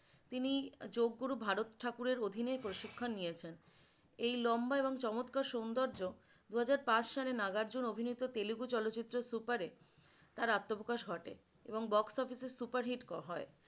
তিনি যোগগুরু ভারত ঠাকুরের অধীনে প্রশিক্ষণ নিয়েছেন । এই লম্বা এবং চমৎকার সুন্দর্য দুহাজার পাঁচ সালে নাগা অর্জুন অভিনেতা তেলেগু চলচিত্র সুপার এ তার আত্বপ্রকাশ ঘটে এবং box office super hit হয়।